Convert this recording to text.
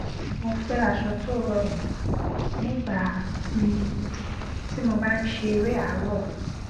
mo fẹ aṣọ tó rọrùn nígbà um tí mo bá n ṣe eré àárọ